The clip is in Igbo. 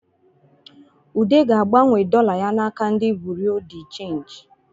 Ude ga-agbanwe dọla ya n’aka ndi bụrịa dị chenjị